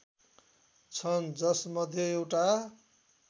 छन् जसमध्ये एउटा